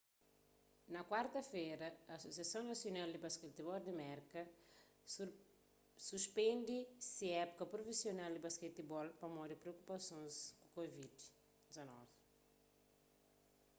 na kuarta-fera asosiason nasional di basketibol di merka nba suspende se épuka prufisional di basketibol pamodi priokupasons ku covid-19